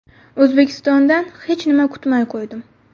O‘zbekistondan hech nima kutmay qo‘ydim.